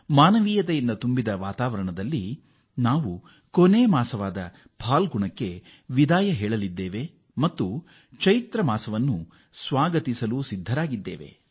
ಮಾನವತೆ ಪ್ರೀತಿ ಮತ್ತು ಭ್ರಾತೃತ್ವ ವಾತಾವರಣದೊಂದಿಗೆ ನಾವು ವರ್ಷದ ಕೊನೆಯ ತಿಂಗಳು ಪಾಲ್ಗುಣಕ್ಕೆ ವಿದಾಯ ಹೇಳಲಿದ್ದೇವೆ ಮತ್ತು ಹೊಸ ಮಾಸ ಚೈತ್ರವನ್ನು ಸ್ವಾಗತಿಸಲು ಕಾತರರಾಗಿದ್ದೇವೆ